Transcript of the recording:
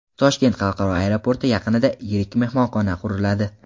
Toshkent xalqaro aeroporti yaqinida yirik mehmonxona quriladi.